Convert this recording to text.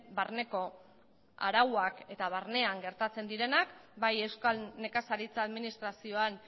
barneko arauak eta barnean gertatzen direnak bai euskal nekazaritza administrazioan